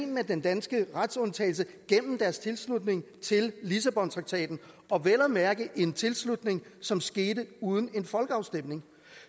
med den danske retsundtagelse gennem deres tilslutning til lissabontraktaten og vel at mærke en tilslutning som skete uden en folkeafstemning